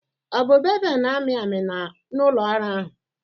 ọ bụ bevel na-amị amị na ụlọ ọrụ ahụ?